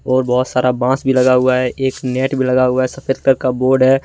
और बहुत सारा बांस भी लगा हुआ है एक नेट भी लगा हुआ है सफेद कलर का बोर्ड है।